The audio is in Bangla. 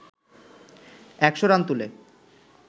একশ রান তুলে